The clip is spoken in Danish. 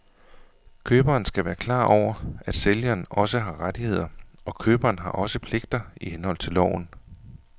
Køberen skal være klar over, at sælgeren også har rettigheder, og køberen har også pligter i henhold til loven.